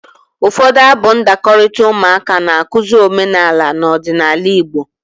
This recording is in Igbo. Ụfọdụ abụ ndakọrita ụmụaka na-akụzi omenala na ọdịnaala Igbo.